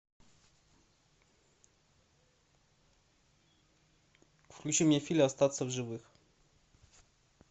включи мне фильм остаться в живых